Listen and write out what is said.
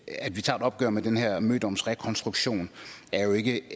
vi tager et opgør med den her mødomsrekonstruktion jo ikke